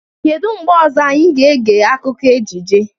Kedu mgbe ọzọ anyị ga-ege akụkọ ejije?